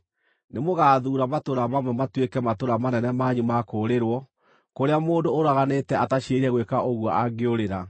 nĩmũgathuura matũũra mamwe matuĩke matũũra manene manyu ma kũũrĩrwo, kũrĩa mũndũ ũraganĩte ataciirĩire gwĩka ũguo angĩũrĩra.